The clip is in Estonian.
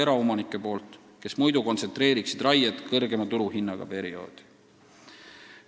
Vastasel juhul hoogustaksid nad raiet kõrgema turuhinnaga perioodil.